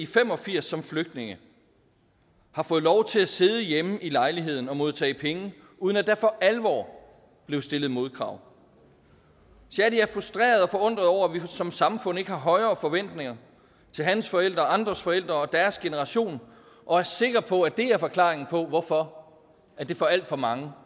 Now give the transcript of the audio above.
fem og firs som flygtninge har fået lov til at sidde hjemme i lejligheden og modtage penge uden at der for alvor blev stillet modkrav shadi er frustreret og forundret over at vi som samfund ikke har højere forventninger til hans forældre og andres forældre og deres generation og er sikker på at det er forklaringen på hvorfor det for alt for mange